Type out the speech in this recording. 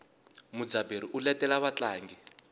mudzaberi u letela vatlangi